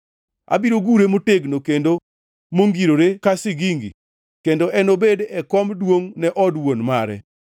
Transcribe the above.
Abiro gure motegno kendo mongirore ka sigingi kendo enobed e kom duongʼ ne od wuon mare.